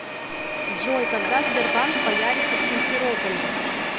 джой когда сбербанк появится в симферополе